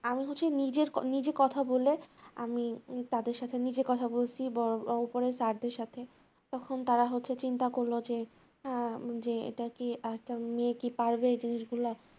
আমি হচ্ছি নিজের কথা নিজে কথা বলে আমি তাদের সাথে নিজে কথা বলছি বড় বড় স্যারদের সাথে তখন তারা হচ্ছে চিন্তা করছে করল যে যে এটা কি একটা মেয়ে কি পারবে এই জিনিসগুলা